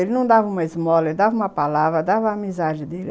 Ele não dava uma esmola, ele dava uma palavra, dava a amizade dele.